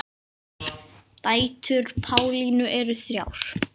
Dætur Pálínu eru þrjár.